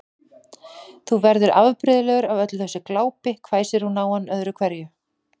Þú verður afbrigðilegur af öllu þessu glápi hvæsti hún á hann öðru hverju.